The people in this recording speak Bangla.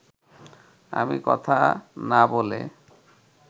আমি কথা না বলে